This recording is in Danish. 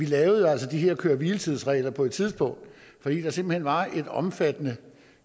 lavede de her køre hvile tids regler på et tidspunkt fordi der simpelt hen var et omfattende